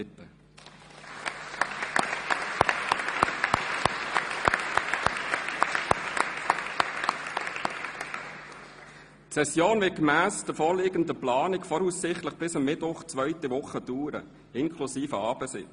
Die Session wird gemäss der vorläufigen Planung voraussichtlich bis Mittwoch der zweiten Woche dauern, inklusive Abendsitzungen.